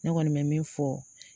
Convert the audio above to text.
Ne kɔni be min fɔ